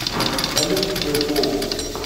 салют твой пол